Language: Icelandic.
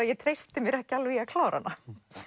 ég treysti mér ekki alveg í að klára hana